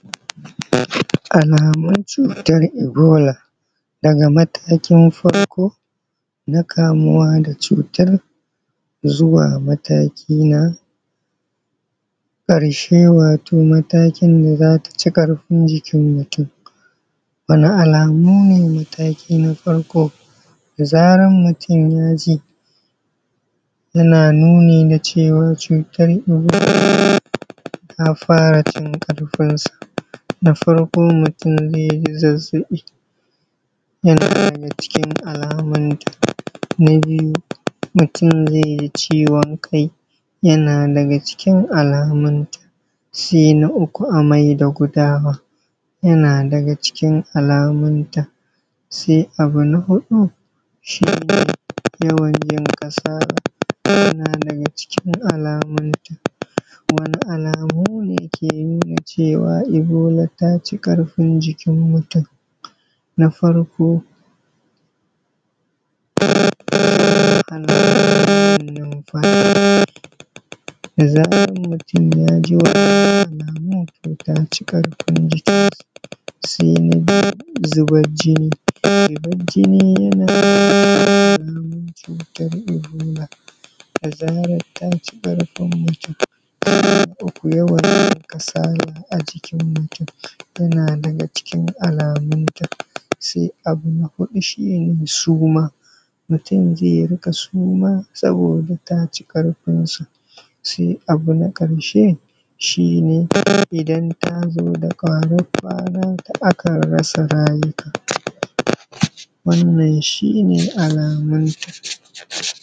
Alamun cutar ebola daga matakin farko na kamuwa da cutar zuwa na mataki na ƙarshe wato matakin da zata ci a kafin jikin mutum. Wani alamu ne mataki na farko da zarar mutum yaji yana nuni na cewa cutar ta fara cin karfin sa, na farko mutum zai ji zazzaɓi yana daga cikin alamun ta na biyu, mutum zai ji ciwon kai yana daga cikin alamun ta sai na uku amai da gudawa yana daga cikin alamun ta, sai abu na hudu shi ne yawan jin kasala yana daga cikin alamun ta. Wani alamu ne ke nuna ebola taci karfin jikin mutum na farko yin wahala wajen numfashi da zarar mutum yaji wannan alamun to ta ci karfin jikin sa sai na biyu zubar jini zubar jini alamu ce ta ebola da zarar ta ci karfin jikin mutum sai na uku yawan kasala a cikin mutum yana daga cikin alamun ta sai abu na huɗu shi ne suma, mutum zai rika suma sabida ta ci karfin sa sai abu na karshe shi ne idan tazo da ƙarar kwana akan rasa rayuwa wannan shi ne alamun ta.